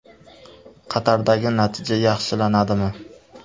Qatardagi natija yaxshilanadimi?